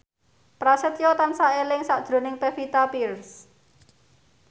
Prasetyo tansah eling sakjroning Pevita Pearce